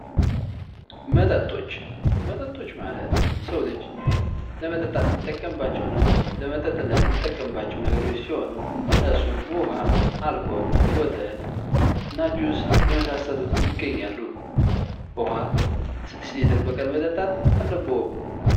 መጠጦች መጠጦች ማለት የሰው ልጅ ለመጠጣት የሚጠቀምባቸውን ለመጠጥነት የሚጠቀማቸው ነገሮች ሲሆኑ እነሱም ውሀ፣ አልኮል፣ ወተትና ጁስ የመሳሰሉት ይገኛሉ። ውሀ ስድስት ሊትር በቀን መጠጣት አለብዎ።